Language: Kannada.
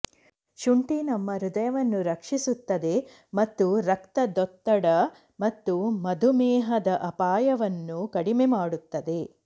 ಶುಂಠಿ ನಮ್ಮ ಹೃದಯವನ್ನು ರಕ್ಷಿಸುತ್ತದೆ ಮತ್ತು ರಕ್ತದೊತ್ತಡ ಮತ್ತು ಮಧುಮೇಹದ ಅಪಾಯವನ್ನು ಕಡಿಮೆ ಮಾಡುತ್ತದೆ